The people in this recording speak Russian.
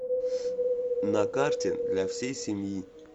на карте для всей семьи